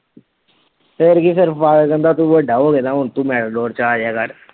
ਫੇਰ ਕੀ ਫੇਰ father ਕਹਿੰਦਾ ਤੂੰ ਵੱਡਾ ਹੋਗੇ ਦਾ ਹੁਣ ਤੂੰ ਚ ਆ ਜਾਇਆ ਕਰ।